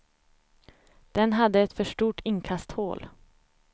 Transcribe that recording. Den hade ett för stort inkasthål.